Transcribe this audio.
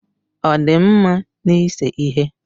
Ọ dị mma n'ise ihe?